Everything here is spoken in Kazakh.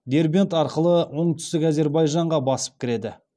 дербент арқылы оңтүстік әзербайжанға басып кіреді